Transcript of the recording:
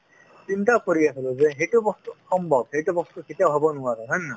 চিন্তা কৰি আছিলো যে সেইটো বস্তু সম্ভৱ সেইটো বস্তু কেতিয়াও হ'ব নোৱাৰে হয় নে নহয়